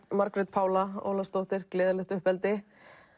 Margrét Pála Ólafsdóttir gleðilegt uppeldi